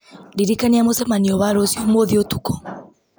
ndirikania mũcemanio wa rũciũ ũmũthĩ ũtukũ